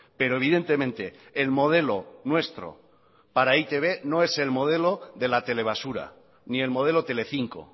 pero evidentemente el modelo nuestro para e i te be no es el modelo de la telebasura ni el modelo telecinco